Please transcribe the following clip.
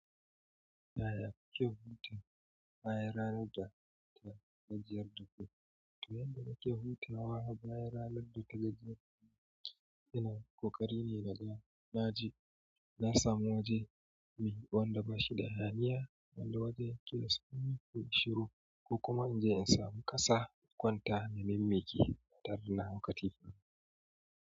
Yaya kuke huta bayan ranar data gajiyar daku? To yanda nake hutawa bayan ranar litinin inila yana kokarine naga naje. Na samu waje mai wanda bashi da hayaniya wanda wajen ke samun shiru, ko kuma inje in samu ƙasa in kwanta, maimaimmiki taran hankali.